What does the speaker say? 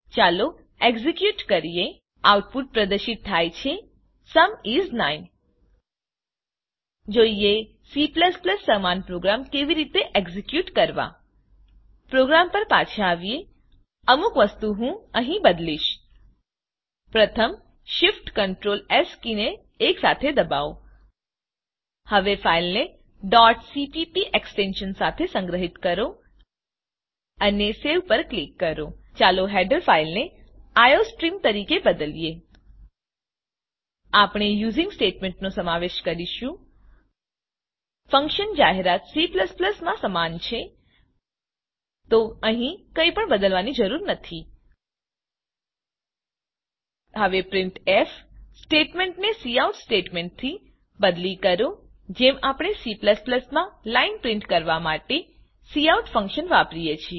ચાલો એક્ઝેક્યુટ કરીએ આઉટપુટ પ્રદર્શિત થાય છે સુમ ઇસ 9 જોઈએ C સમાન પ્રોગ્રામ કેવી રીતે એક્ઝેક્યુટ કરવા પોગ્રામ પર પાછા આવીએ અમુક વસ્તુ હું અહી બદલીશ પ્રથમ શિફ્ટક્ટર્લ અને એસ કીને એકસાથે દબાવો હવે ફાઈલને cpp એક્સટેંશન સાથે સંગ્રહીત કરો અને સેવ પર ક્લિક કરો ચાલો હેડર ફાઈલને આઇઓસ્ટ્રીમ આઈ ઓ સર્ટીમ તરીકે બદલીએ આપણે યુઝિંગ સ્ટેટમેંટનો સમાવેશ કરીશું ફંક્શન જાહેરાત C માં સમાન છે તો અહીં કંઈપણ બદલવાની જરૂર નથી હવે પ્રિન્ટફ સ્ટેટમેંટને કાઉટ સ્ટેટમેંટથી બદલી કરો જેમ આપણેCમાં લાઈન પ્રિન્ટ કરવા માટે કાઉટ ફંક્શન વાપરીએ છે